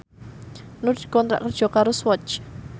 Nur dikontrak kerja karo Swatch